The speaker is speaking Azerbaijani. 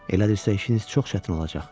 Elədirsə işiniz çox çətin olacaq.